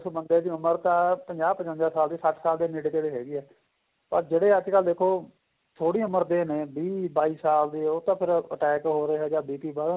ਉਸ ਬੰਦੇ ਦੀ ਉਮਰ ਤਾਂ ਪੰਜਾਹ ਪਚਵੰਜਾ ਸਾਲ ਦੀ ਸੱਠ ਸਾਲ ਦੇ ਨੇੜੇ ਥੇੜੇ ਹੈਗੀ ਏ ਪਰ ਜਿਹੜੇ ਅੱਜਕਲ ਦੇਖੋ ਥੋੜੀ ਉਮਰ ਦੇ ਨੇ ਵੀਹ ਬਾਈ ਸਾਲ ਉਹ ਤਾਂ ਫ਼ਿਰ attack ਹੋ ਰਿਹਾ ਜਾਂ BP ਕਹਿਲੋ